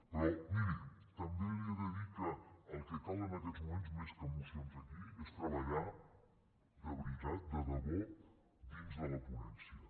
però miri també li he de dir que el que cal en aquests moments més que mocions aquí és treballar de veritat de debò dins de la ponència